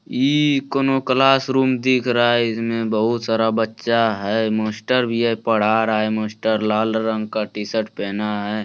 इ कउनो classroom दिख रहा है इसमें बहुत सारा बच्चा है मास्टर भी येह पढ़ा रहा है मास्टर लाल रंग का टीशर्ट पहना है।